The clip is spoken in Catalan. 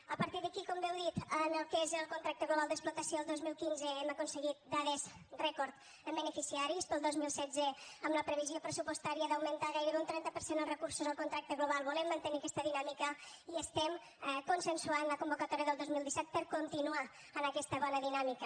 a partir d’aquí com bé heu dit en el que és el contracte global d’explotació el dos mil quinze hem aconseguit dades rècord en beneficiaris per al dos mil setze amb la previsió pressupostària d’augmentar gairebé un trenta per cent dels recursos al contracte global volem mantenir aquesta dinàmica i estem consensuant la convocatòria del dos mil disset per continuar en aquesta bona dinàmica